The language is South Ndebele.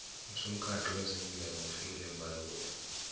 usomukhandlu weze midlalo ngufikile mbalula